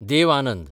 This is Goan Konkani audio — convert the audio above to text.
देव आनंद